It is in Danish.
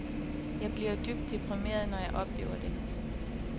Jeg bliver dybt deprimeret, når jeg oplever det.